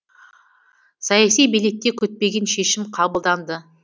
саяси билікте күтпеген шешім қабылданды